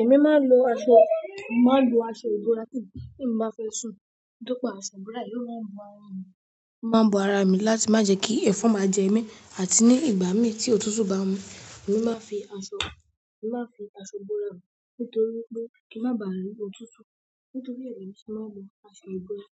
Ẹ̀mí máa ń lò aṣọ, mo máa ń lò aṣọ burá, tèmí bá fẹ́ sùn. Nítorí pé aṣọ ìbora yìí máa ń bu ara mi, máa ń bu ara mi láti má jẹ kí ẹ̀fọn máa jẹ mí àti ní ìgbà mi tí òtútù bá ń mú, èmi máa fi aṣọ, màá fi aṣọ bora mi nítorí pé kí ń má ba à rí òtútù. Nítorí èmi sì máa ń wọ aṣọ ìbora.